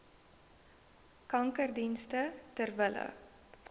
kankerdienste ter wille